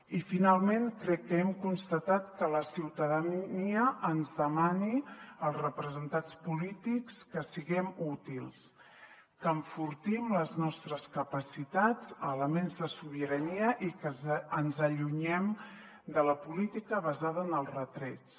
i finalment crec que hem constatat que la ciutadania ens demana als representats polítics que siguem útils que enfortim les nostres capacitats elements de sobirania i que ens allunyem de la política basada en els retrets